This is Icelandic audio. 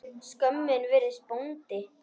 Skömmin virðist bóndi.